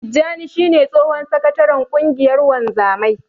Tijjani shi ne tsohon sakataren ƙungiyar wanzamai.